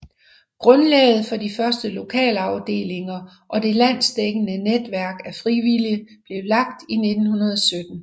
Grundlaget for de første lokalafdelinger og det landsdækkende netværk af frivillige blev lagt i 1917